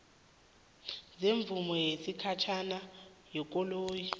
semvumo yesikhatjhana yekoloyi